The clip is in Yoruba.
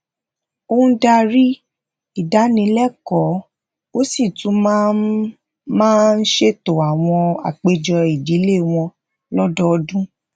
ó ń darí ìdánilẹkọọ ó sì tún máa ń máa ń ṣètò àwọn àpéjọ ìdílé wọn lọdọọdun